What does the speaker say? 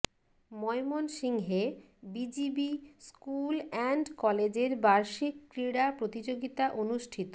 ময়মনসিংহে BGB school and কলেজের বার্ষিক ক্রীড়া প্রতিযোগিতা অনুষ্ঠিত